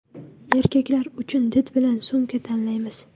Erkaklar uchun did bilan sumka tanlaymiz.